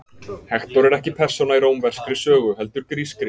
Hektor er ekki persóna í rómverskri sögu, heldur grískri.